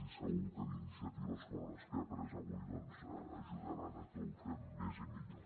i segur que iniciatives com les que hem pres avui doncs ajudaran a que ho fem més i millor